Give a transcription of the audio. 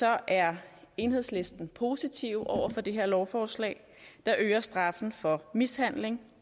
er enhedslisten positive over for det her lovforslag der øger straffen for mishandling